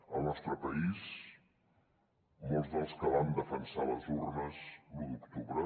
al nostre país molts dels que van defensar les urnes l’u d’octubre